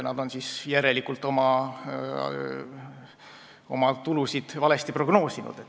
Nad on siis järelikult oma tulusid valesti prognoosinud.